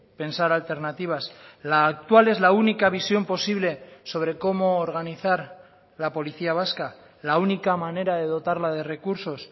pensar alternativas la actual es la única visión posible sobre cómo organizar la policía vasca la única manera de dotarla de recursos